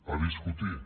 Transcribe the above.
a discutir